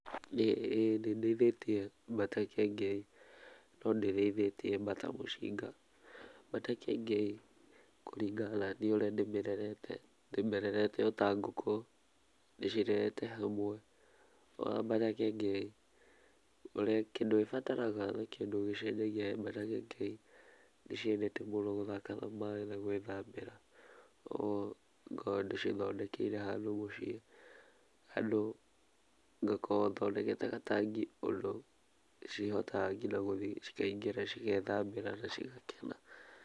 Ĩĩ nĩ ndĩithĩtie mbata kĩengei no ndĩrĩithĩtie bata mũcinga. Mbata kĩengei kũringana naniĩ ũrĩa ndĩmĩrerete, ndĩmĩrerete o ta nguku, ndĩcirerete hamwe. No bata kĩengei kĩndũ ĩbataraga na kĩndũ gĩcenjagia he mbata kĩengei nĩciendete mũno gũthaka na maaĩ na gwĩthambĩra. Ngoragwo ndĩcithondekeire handũ mũciĩ, handũ ngakorwo thondekete gatangi ũndũ cĩhotaga nginya guthiĩ cikaingĩra cigethambĩra na cigakena.